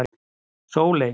Sóley